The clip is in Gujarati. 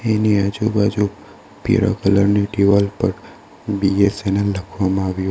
એની આજુબાજુ પીળા કલર ની દિવાલ પર બી_એસ_એન_એલ લખવામાં આવ્યું--